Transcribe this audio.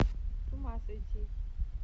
с ума сойти